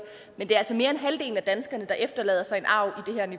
men det er altså mere end halvdelen af danskerne der efterlader sig en arv